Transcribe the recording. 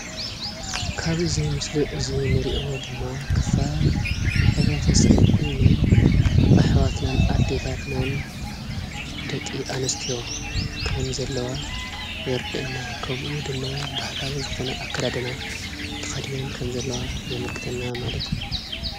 ካብዚ ምስሊ እዚ ንሪኦ ድማ ክፋል ሕብረተሰብ ኮይነን ኣሕዋትናን ኣዴታትናን ደቂ ኣንስትዮ ከምዘለዋ የረድአና። ከምኡ ድማ ባህላዊ ዝኾነ ኣከዳድና ተኸዲነን ከምዘለዋ የመልክተና ማለት እዩ።